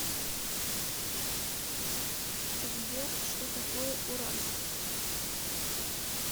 сбер что такое уральск